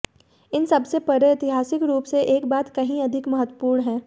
इन सबसे परे ऐतिहासिक रूप से एक बात कहीं अधिक महत्वपूर्ण है